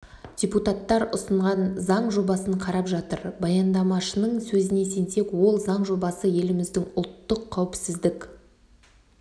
депутаттар ұсынған заң жобасын қарап жатыр баяндамашының сөзіне сенсек ол заң жобасы еліміздің ұлттық қауіпсіздік